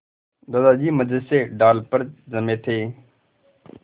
दादाजी मज़े से डाल पर जमे थे